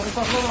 Hacı saxla.